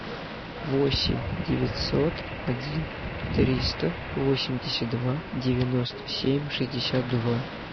восемь девятьсот один триста восемьдесят два девяносто семь шестьдесят два